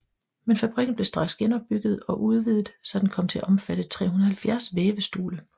Men fabrikken blev straks genopbygget og udvidet så den kom til at omfatte 370 vævestole